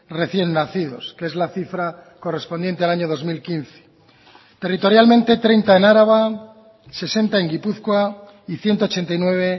recién nacidos que es la cifra correspondiente al año dos mil quince territorialmente treinta en araba sesenta en gipuzkoa y ciento ochenta y nueve